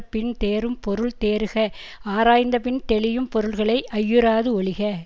பின்தேறும் பொருள் தேறுக ஆராய்ந்தபின் தெளியும் பொருள்களை ஐயுறாது ஒழிக